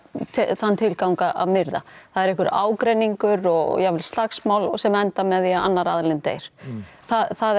þann tilgang að myrða það er einhver ágreningur og jafnvel slagsmál sem enda með því að annar aðilinn deyr það er